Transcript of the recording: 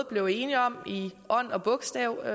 blev enige om i ånd og bogstav